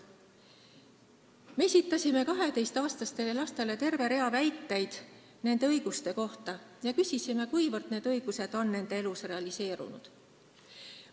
Me esitasime 12-aastastele lastele terve rea väiteid nende õiguste kohta ja küsisime, kuivõrd need õigused on nende elus realiseerunud.